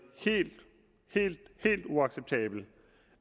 helt helt uacceptabelt